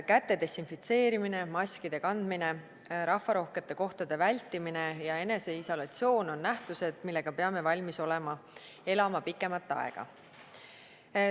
Käte desinfitseerimine, maskide kandmine, rahvarohkete kohtade vältimine ja eneseisolatsioon on nähtused, millega peame olema valmis elama pikemat aega.